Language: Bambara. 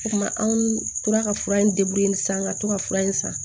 O kuma anw tora ka fura in san ka to ka fura in san